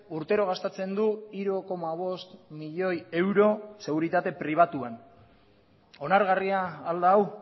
urtero gastatzen du hiru koma bost milioi euro seguritate pribatuan onargarria al da hau